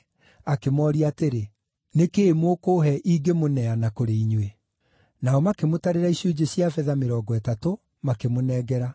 akĩmooria atĩrĩ, “Nĩ kĩĩ mũkũũhe ingĩmũneana kũrĩ inyuĩ?” Nao makĩmũtarĩra icunjĩ cia betha mĩrongo ĩtatũ, makĩmũnengera.